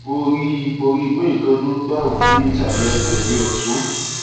mo rí i mo rí i pé nǹkan dún gbàù ní ìsàlẹ ẹsẹ mi ọtún